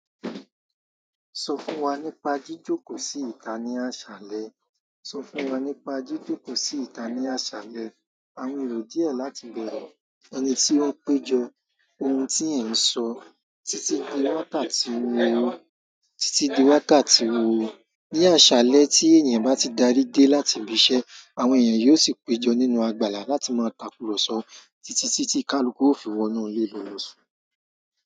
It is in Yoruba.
Sọ fún wa nípa jíjókòó sí ìta ní àṣálẹ́. Sọ fún wa nípa jíjókòó sí ìta ní àṣálẹ́. Àwọń erò díẹ̀ láti bẹ̀rẹ̀ ẹni tí ó péjọ ohun tí ẹ̀ ń sọ títí di wákàtí wo? Títí di wákàtí wo? Ni àṣálẹ́ tí èèyàn bá ti darí dé láti ibi iṣẹ́, àwọn èèyàn yóò sì péjọ nínú àgbàlá láti máa takùrọ̀sọ títí tí tí kalukú ó fi wọnú lé ìlú lọ só.